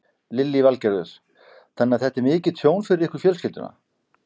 Lillý Valgerður: Þannig að þetta er mikið tjón fyrir ykkur fjölskylduna?